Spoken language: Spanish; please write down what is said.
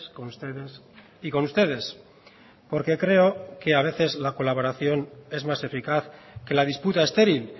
con ustedes y con ustedes porque creo que a veces la colaboración es más eficaz que la disputa estéril